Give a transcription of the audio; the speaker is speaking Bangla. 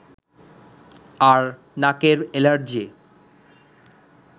আর নাকের এলার্জি